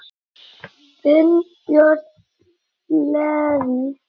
Þinn, Björn Leví.